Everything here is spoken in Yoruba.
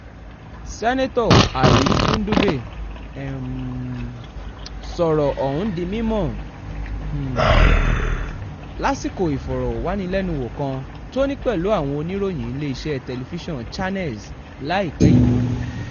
seneto ali ndube um sọ̀rọ̀ ọ̀hún di mímọ́ um lásìkò ìfọ̀rọ̀wánilẹ́nuwò kan tó ní pẹ̀lú àwọn oníròyìn iléeṣẹ́ tẹlifíṣàn channels láìpẹ́ yìí